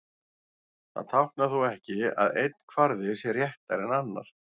Það táknar þó ekki að einn kvarði sé réttari en annar.